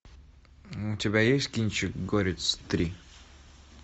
у тебя есть кинчик горец три